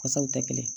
Wasaw tɛ kelen ye